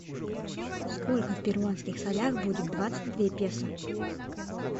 сколько в перуанских солях будет двадцать две песо